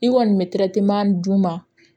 I kɔni bɛ d'u ma